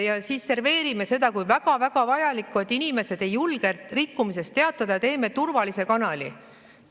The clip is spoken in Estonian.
Ja siis serveerime seda kui väga-väga vajalikku, et inimesed ei julge rikkumisest teatada ja teeme turvalise kanali.